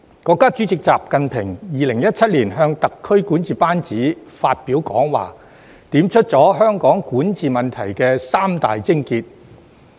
國家主席習近平在2017年向特區管治班子發表講話，點出了香港管治問題的三大癥結。